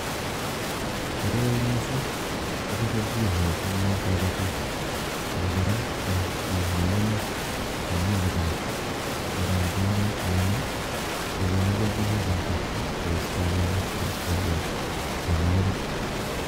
koroi mising goba gelnjin eng kabatik ago gora eng chi neu ane ne imuch ibaal akaam si gogona gelnjin eng borto goistawa mianwokik